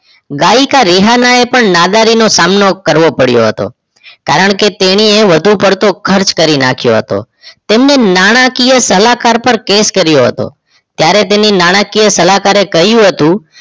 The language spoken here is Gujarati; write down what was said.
ગાયકી રેહના એ પણ નાગારીનો સામનો કરવો પડીયો હતો કારણકે તેણીએ વધુ પરતો ખર્ચ કરી નાખીયો હતો તેને નાણાંકીય સલાહકાર પર કેસ કરીયો હતો ત્યારે તેની સલહકાર કહ્યું હતું